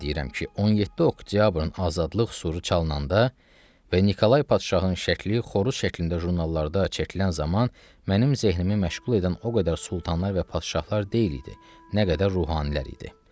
Yenə deyirəm ki, 17 oktyabrın azadlıq suru çalınanda və Nikolay padşahın şəkli xoruz şəklində jurnallarda çəkilən zaman mənim zehnnimi məşğul edən o qədər sultanlar və padşahlar deyil idi, nə qədər ruhanilər idi.